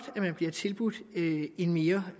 at man bliver tilbudt en mere